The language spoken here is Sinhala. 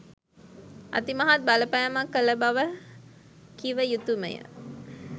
අතිමහත් බලපෑමක් කළ බව කිව යුතුමය.